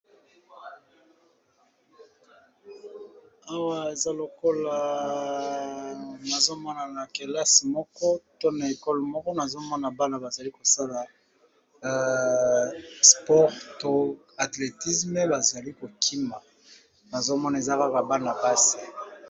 Awa eza lokola nazomona na kelasi moko to na ekole moko, nazomona bana bazali kosala sport to athletisme bazali kokima nazomona eza kaka bana mpasi.